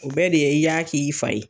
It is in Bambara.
O bɛɛ de i y'a K'i fa ye.